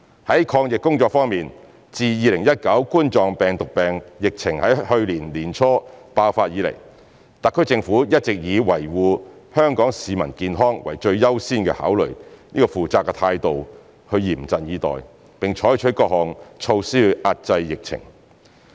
在抗疫工作方面，自2019冠狀病毒病疫情在去年年初爆發以來，特區政府一直以維護香港市民健康為最優先考慮的負責任態度嚴陣以待，並採取各項措施遏制疫情。